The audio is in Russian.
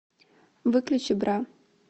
выключи бра